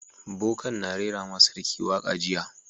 Boka'n na rera ma sarki waka jiya.